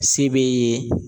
Se b'e ye